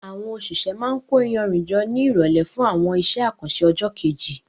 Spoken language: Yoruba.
Àwọn òṣìṣẹ́ máa ń kó iyanrìn jọ ní ìrọ̀lẹ́ fún àwọn iṣẹ́ àkànṣe ọjọ́ kejì.